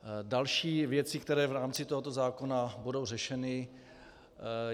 Další věci, které v rámci tohoto zákona budou řešeny.